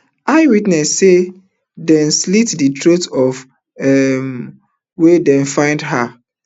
eyewitnesses say dem slit di throat of um wen dem find her